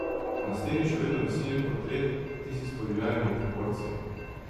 Na steni še vedno visi njen portret, tisti s podivjanimi proporci.